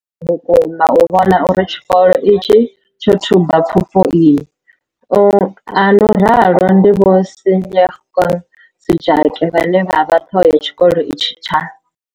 Ri kona u vhona uri tshikolo itshi tsho thuba pfufho iyi, a no ralo ndi Vho Seyanokeng Sejake vhane vha vha ṱhoho ya tshikolo itshi tsha.